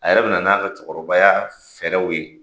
A yɛrɛ bɛna n'a ka cɛkɔrɔbaya fɛɛrɛw ye.